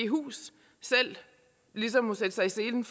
hus selv ligesom må sætte sig i scene